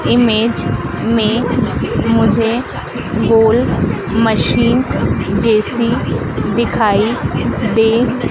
image में मुझे गोल मशीन जैसी दिखाई दे--